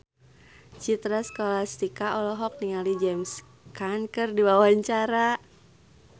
Citra Scholastika olohok ningali James Caan keur diwawancara